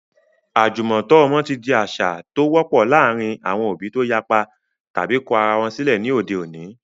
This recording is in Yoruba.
Àjùmọ̀tọ́ ọmọ ti di àṣà tó )wọ́pọ̀ láàárín àwọn òbí tó yapa tàbi kọ ara wọn sílẹ̀ ní òde òní.